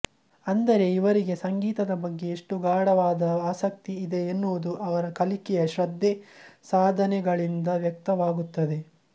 ಅಂದರೆ ಇವರಿಗೆ ಸಂಗೀತದ ಬಗ್ಗೆ ಎಷ್ಟು ಗಾಢವಾದ ಆಸಕ್ತಿ ಇದೆ ಎನ್ನುವುದು ಅವರ ಕಲಿಕೆಯ ಶ್ರದ್ಧೆ ಸಾಧನೆಗಳಿಂದ ವ್ಯಕ್ತವಾಗುತ್ತದೆ